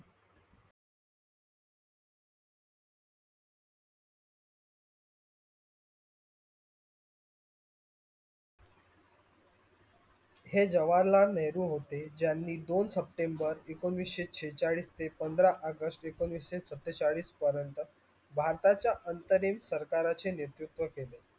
हे जवाहलाल नेहरू होते ज्यानि दोन september एकोणविशे छेचाडीस ते पंधरा august एकोणविशे सतेचाळीस पर्यन्त भारताचा अंतरिम सारकाराचे नेतृत्व केले.